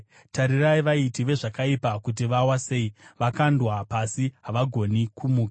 Tarirai vaiti vezvakaipa kuti vawa sei, vakandwa pasi, havagoni kumuka.